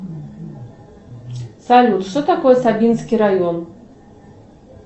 салют что такое сабинский район